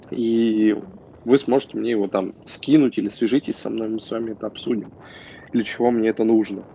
и вы сможете мне его там скинуть или свяжитесь со мной мы с вами это обсудим для чего мне это нужно